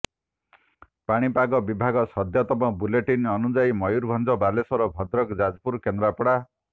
ପାଣିପାଗ ବିଭାଗର ସଦ୍ୟତମ ବୁଲେଟିନ୍ ଅନୁଯାୟୀ ମୟୁରଭଞ୍ଜ ବାଲେଶ୍ବର ଭଦ୍ରକ ଯାଜପୁର କେନ୍ଦ୍ରାପଡା